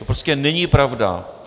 To prostě není pravda.